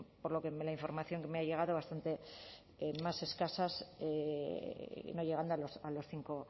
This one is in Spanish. por lo que la información que me ha llegado bastante más escasas y no llegando a los cinco